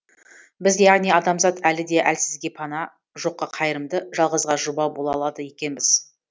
біз яғни адамзат әлі де әлсізге пана жоққа қайырымды жалғызға жұбау бола алады екенбіз